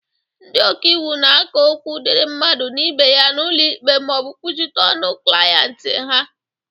Ndị okaiwu na-aka okwu dịri mmadụ na ibe ya n'ụlọ ikpe ma ọ bụ kwuchite ọnụ ndị ahịa ha.